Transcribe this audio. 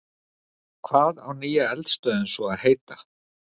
Hvað á nýja eldstöðin svo að heita?